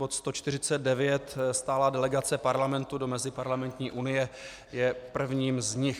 Bod 149, stálá delegace Parlamentu do Meziparlamentní unie, je prvním z nich.